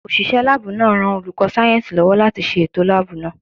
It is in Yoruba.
Òṣìṣẹ́ láàbù náà ń ran olùkọ́ sáyẹ̀nsì lọ́wọ́ láti ṣe ètò láàbù náà